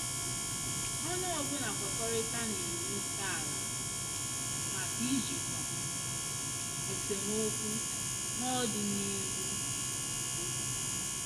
Onye ọbụla kwekọritara na na iwu ntọala maka ijikwa esemokwu n'ọdịnihu n' udo.